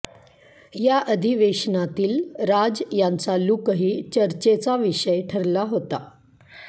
या अधिवेशनातील राज यांचा लूकही चर्चेचा विषय ठरला होता